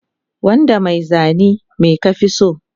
Wanda mai zani me ka fi so